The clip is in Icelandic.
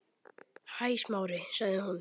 Hæ, Smári- sagði hún.